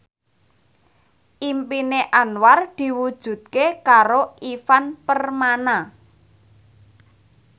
impine Anwar diwujudke karo Ivan Permana